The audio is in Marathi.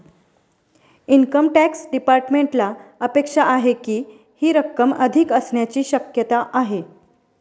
इनकम टॅक्स डिपार्टमेंटला अपेक्षा आहे की, ही रक्कम अधिक असण्याची शक्यता आहे.